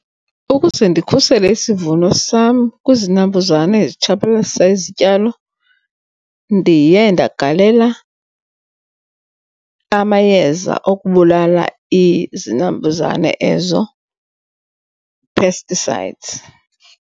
Ukuze ndikhusele isivuno sam kwizinambuzane ezitshabalalisa izityalo ndiye ndagalela amayeza okubulala izinambuzane ezo, pesticides.